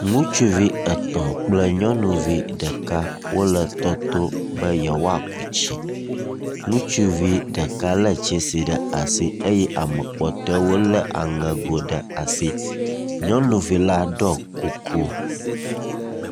Ŋutsuvi etɔ̃ kple nyɔnuvi ɖeka wole tɔto beyewoaku tsi. Ŋutsuvi ɖeka lé tsasi ɖe asi eye ame kpɔtɔewo lé aŋego ɖe asi. Nyɔnuvi la ɖɔ kuku.